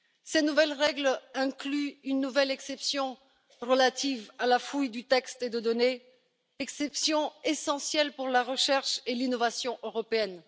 Ces nouvelles règles incluent une nouvelle exception relative à la fouille de textes et de données, exception essentielle pour la recherche et l'innovation européenne.